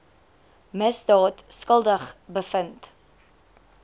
misdaad skuldig bevind